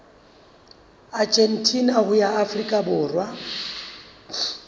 argentina ho ya afrika borwa